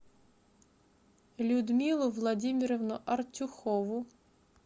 людмилу владимировну артюхову